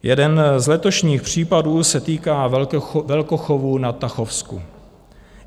Jeden z letošních případů se týká velkochovů na Tachovsku.